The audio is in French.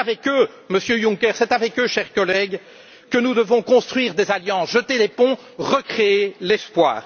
C'est avec eux, Monsieur Juncker, c'est avec eux, chers collègues, que nous devons construire des alliances, jeter les ponts, recréer l'espoir.